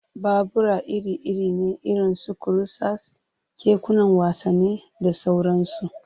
Babura iri-iri ne irin su kurusas, kekunan wasanni, da sauransu.